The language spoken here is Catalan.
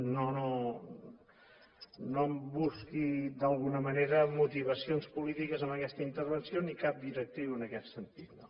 no em busqui d’alguna manera motivacions polítiques en aquesta intervenció ni cap directriu en aquest sentit no